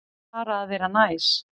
Bara að vera næs.